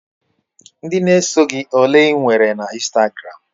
Ndị na-eso gị ole ị nwere na Instagram?